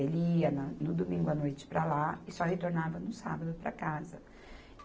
Ele ia na, no domingo à noite para lá e só retornava no sábado para casa.